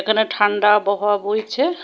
এখানে ঠান্ডা আবহাওয়া বইছে।